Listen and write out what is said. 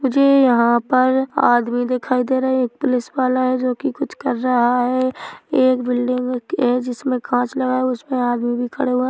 मुझे यहाँ पर आदमी दिखाई दे रहे है एक पुलिसवाला है जोकि कुछ कर रहा है एक बिल्डिंग है जिसमे कांच लगा है उसमे आदमी भी खड़े हुआ है।